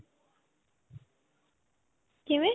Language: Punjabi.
ਕਿਵੇਂ?